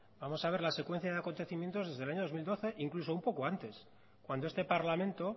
vamos a ver la secuencia de acontecimientos desde el año dos mil doce incluso un poco antes cuando este parlamento